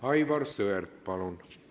Aivar Sõerd, palun!